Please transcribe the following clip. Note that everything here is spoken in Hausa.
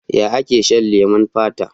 Ya ake shan leman fata?